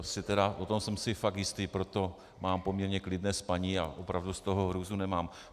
V tom jsem si fakt jistý, proto mám poměrně klidné spaní a opravdu z toho hrůzu nemám.